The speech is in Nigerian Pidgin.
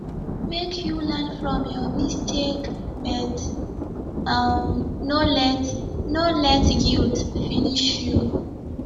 make you learn from your mistake but um no let no let guilt finish you